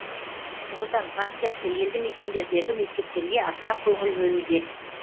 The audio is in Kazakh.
нұр отан партиясы елді мекендердегі мектептерге аса көңіл бөлуде